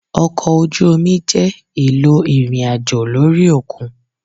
ọkọ oju omi jẹ elò irín-ajo lori okun.